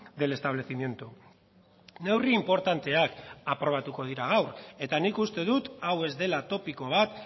del establecimiento neurri inportanteak aprobatuko dira gaur eta nik uste dut hau ez dela topiko bat